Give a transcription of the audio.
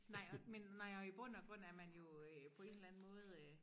Nej og men nå jo i bund og grund er man jo øh på en eller anden måde øh